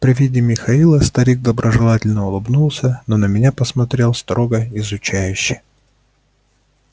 при виде михаила старик доброжелательно улыбнулся но на меня посмотрел строго изучающе